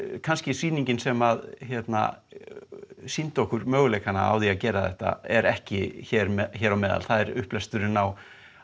kannski sýningin sem að sýndi okkur möguleikana á að gera þetta er ekki hér á meðal það er upplesturinn á